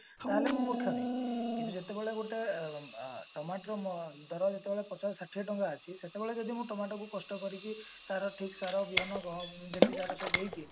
ତାହେଲେ ମୁଁ ମୁର୍ଖାମି କିନ୍ତୁ ଯେତେବେଳେ ଗୋଟେ ଅ ଟମାଟର ଧର ଯେତେବେଳେ ପଚାଶ ଷାଠିଏ ଟଙ୍କା ଅଛି ସେତେବେଳେ ଯଦି ମୁଁ ଟମାଟର କୁ କଷ୍ଟ କରିକିରି ତାର ଠିକ ସାର ବିହନ ଗ ଯେତିକି ତାର ସବୁ ଦେଇକି